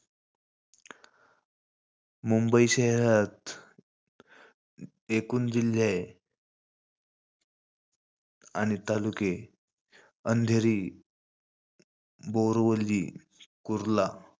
मुंबई शहरात एकूण जिल्हे आणि तालुके, अंधेरी, बोरीवली, कुर्ला.